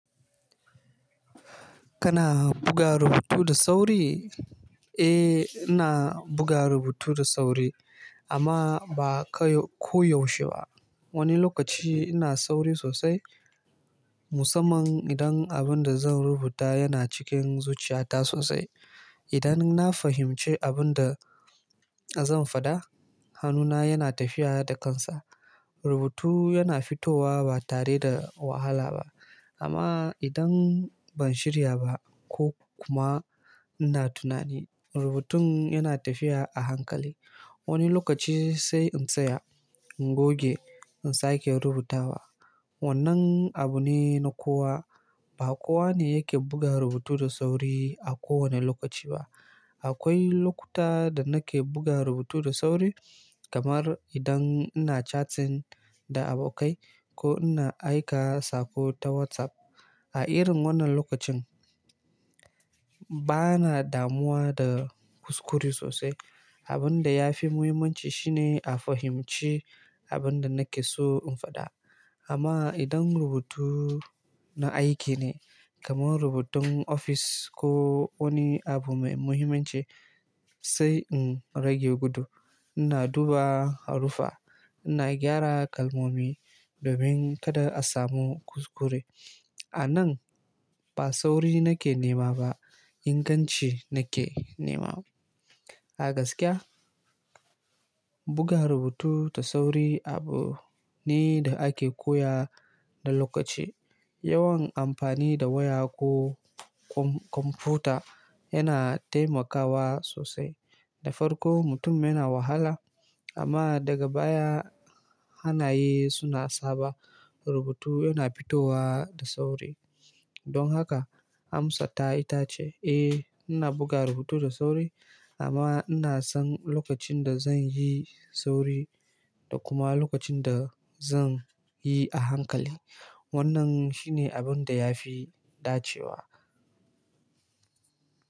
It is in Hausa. Kana buga rubutu da sauri? Eh, ina buga rubutu da sauri amma ba koyaushe ba. Wani lokaci ina sauri sosai musamman idan abin da zan rubuta yana cikin zuciyata sosai. Idan na fahimci abin da zan faɗa, hannuna yana tafiya da kansa. Rubutu yana fitowa ba tare da wahala ba. Amma idan ban shirya ba ko kuma ina tunani, rubutun yana tafiya a hankali. Wani lokaci sai in tsaya, in goge, in sake rubutawa. Wannan abu ne na kowa. Ba kowa ne yake buga rubutu da sauri a kowane lokaci ba. Akwai lokuta da nake buga rubutu da sauri kamar idan ina chatting da abokai ko ina aika sako ta WhatsApp. A irin wannan lokacin bana damuwa da kuskure sosai. Abin da ya fi muhimmanci shine a fahimci abin da nake so in faɗa. Amma idan rubutu na aiki ne kamar rubutun ofis ko wani abu mai muhimmanci, sai in rage gudu. Ina duba haruffa, ina gyara kalmomi domin kada a samu kuskure. A nan ba sauri nake nema ba, inganci nake nema. A gaskiya buga rubutu da sauri abu ne da ake koya da lokaci. Yawan amfani da waya ko kwamfuta yana taimakawa sosai. Da farko mutum yana wahala amma daga baya hanaye suna saba rubutu yana fitowa da sauri. Don haka Hamsata ita ce, "Eh ina buga rubutu da sauri amma ina san lokacin da zan yi sauri da kuma lokacin da zan yi a hankali." Wannan shi ne abin da ya fi dacewa.